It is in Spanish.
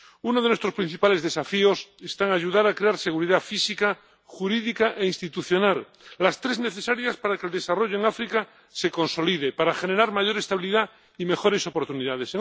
Uno de nuestros principales desafíos está en ayudar a crear seguridad física, jurídica e institucional, las tres necesarias para que el desarrollo en África se consolide para generar mayor estabilidad y mejores oportunidades